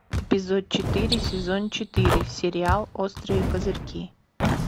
эпизод четыре сезон четыре сериал острые козырьки